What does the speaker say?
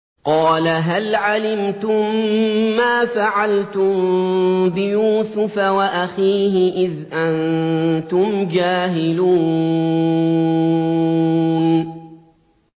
قَالَ هَلْ عَلِمْتُم مَّا فَعَلْتُم بِيُوسُفَ وَأَخِيهِ إِذْ أَنتُمْ جَاهِلُونَ